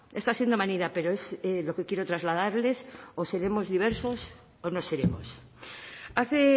está siendo manida pero es lo que quiero trasladarles o seremos diversos o no seremos hace